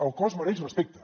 el cos mereix respecte